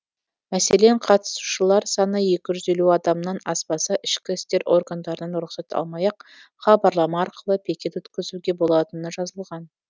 мәселен қатысушылар саны екі жүз елуден адамнан аспаса ішкі істер органдарынан рұқсат алмай ақ хабарлама арқылы пикет өткізуге болатыны жазылған